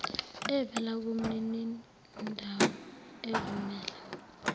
evela kumninindawo evumela